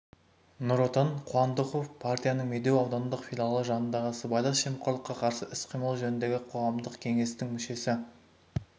нұр отан қуандыков партияның медеу аудандық филиалы жанындағы сыбайлас жемқорлыққа қарсы іс-қимыл жөніндегі қоғамдық кеңестің мүшесі